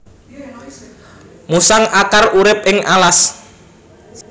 Musang akar urip ing alas